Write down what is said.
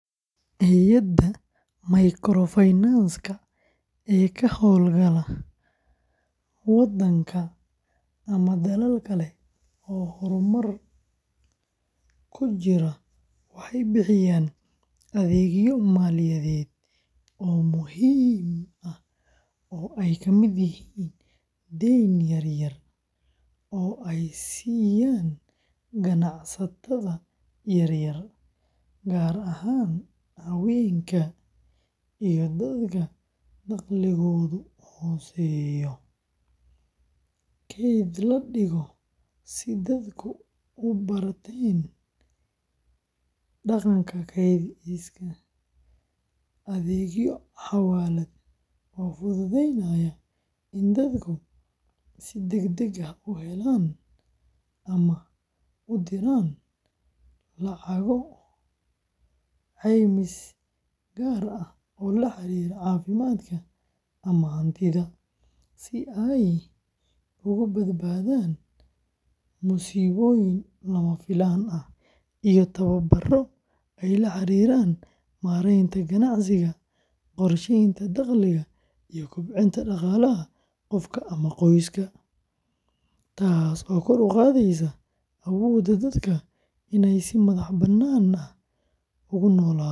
Hay’adaha microfinance-ka ee ka hawlgala wadanka ama dalal kale oo horumar ku jira waxay bixiyaan adeegyo maaliyadeed oo muhiim ah oo ay ka mid yihiin deyn yar-yar oo ay siiyaan ganacsatada yaryar, gaar ahaan haweenka iyo dadka dakhligoodu hooseeyo; kayd la dhigo si dadku u barteen dhaqanka kaydsiga; adeegyo xawaalad oo fududeynaya in dadku si degdeg ah u helaan ama u diraan lacago; caymis gaar ah oo la xiriira caafimaadka ama hantida, si ay uga badbaadaan musiibooyin lama filaan ah; iyo tababaro la xiriira maaraynta ganacsiga, qorsheynta dakhliga, iyo kobcinta dhaqaalaha qofka ama qoyska, taasoo kor u qaadaysa awoodda dadka inay si madax-bannaan ugu noolaadaan.